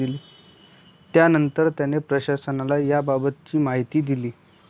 त्यानंतर त्याने प्रशासनाला याबाबतची माहिती दिली.